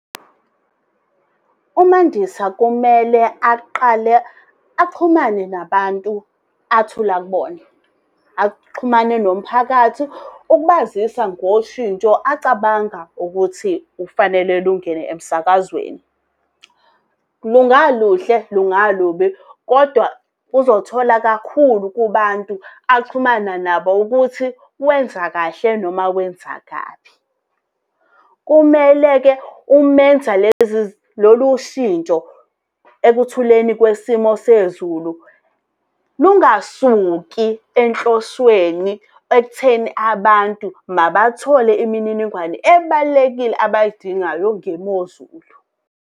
UMandisa kumele aqale axhumane nabantu athula kubona. Axhumane nomphakathi ukubazisa ngoshintsho acabanga ukuthi kufanele lungene emsakazweni. Lungaluhle, lungalubi, kodwa uzothola kakhulu kubantu axhumana nabo ukuthi wenza kahle noma wenza kabi. Kumele-ke umenza lolu shintsho ekuthuleni kwesimo sezulu, lungasuki enhlosweni ekutheni abantu mabathole imininingwane ebalulekile abayidingayo ngemozulu.